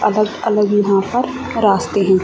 अलग अलग यहां पर रास्ते हैं।